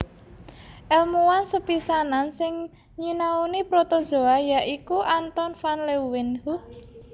Èlmuwan sepisanan sing nyinauni protozoa ya iku Anton van Leeuwenhoek